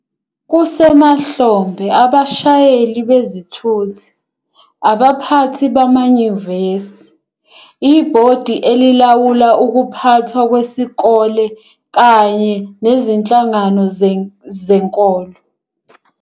Kusemahlombe abashayeli bezithuthi, abaphathi bamanyuvesi, ibhodi elilawula ukuphathwa kwesikole kanye nezinhlangano zezenkolo